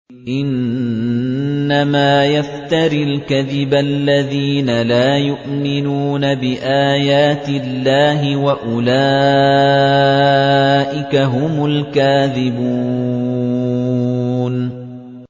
إِنَّمَا يَفْتَرِي الْكَذِبَ الَّذِينَ لَا يُؤْمِنُونَ بِآيَاتِ اللَّهِ ۖ وَأُولَٰئِكَ هُمُ الْكَاذِبُونَ